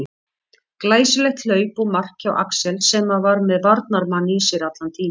Glæsilegt hlaup og mark hjá Axel sem að var með varnarmann í sér allan tímann.